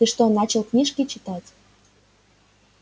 ты что начал книжки читать